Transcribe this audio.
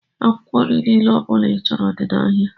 Akwụkwọ nri niile ọbula i chọrọ dị n' áhiá.